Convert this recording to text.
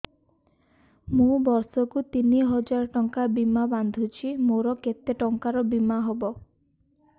ମୁ ବର୍ଷ କୁ ତିନି ହଜାର ଟଙ୍କା ବୀମା ବାନ୍ଧୁଛି ମୋର କେତେ ଟଙ୍କାର ବୀମା ହବ